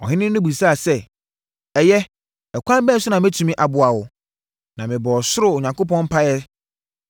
Ɔhene no bisaa sɛ, “Ɛyɛ, ɛkwan bɛn so na mɛtumi aboa wo?” Na mebɔɔ ɔsoro Onyankopɔn mpaeɛ,